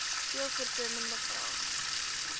veel voorkomende vrae